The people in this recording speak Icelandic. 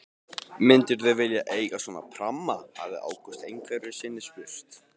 Myndirðu vilja eiga svona pramma? hafði Ágúst einhverju sinni spurt.